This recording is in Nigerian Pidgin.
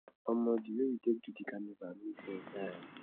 omo di wey we take do di carnival make sense die